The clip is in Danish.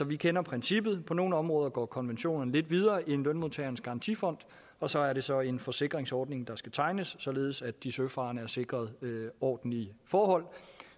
vi kender princippet på nogle områder går konventionen lidt videre end lønmodtagernes garantifond og så er det så en forsikringsordning der skal tegnes således at de søfarende er sikret ordentlige forhold